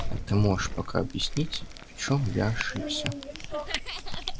а ты можешь пока объяснить в чём я ошибся